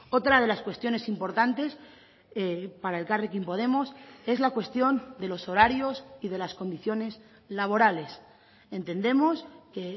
otra de las cuestiones importantes para elkarrekin podemos es la cuestión de los horarios y de las condiciones laborales entendemos que